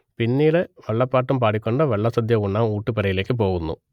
പിന്നീട് വള്ളപ്പാട്ടും പാടി ക്കൊണ്ട് വള്ളസദ്യ ഉണ്ണാൻ ഊട്ടുപുരയിലേയ്ക്ക് പോകുന്നു